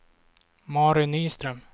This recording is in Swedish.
Mary Nyström